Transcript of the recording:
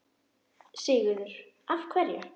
Sigurður: Af hverju?